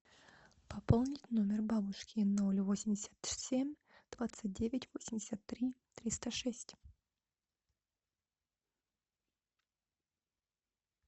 пополнить номер бабушки ноль восемьдесят семь двадцать девять восемьдесят три триста шесть